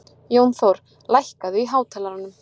Jónþór, lækkaðu í hátalaranum.